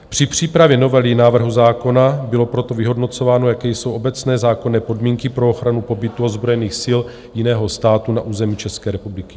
Při přípravě novely návrhu zákona bylo proto vyhodnocováno, jaké jsou obecné zákonné podmínky pro ochranu pobytu ozbrojených sil jiného státu na území České republiky.